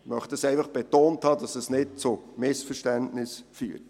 Dies möchte ich betont haben, damit es nicht zu Missverständnissen kommt.